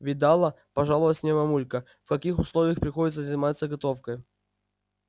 видала пожаловалась мне мамулька в каких условиях приходится заниматься готовкой